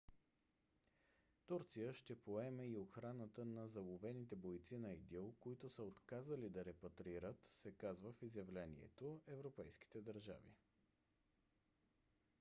турция ще поеме и охраната на заловените бойци на идил които са отказали да репатрират се казва в изявлението европейските държави